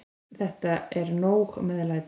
Þetta er nóg meðlæti.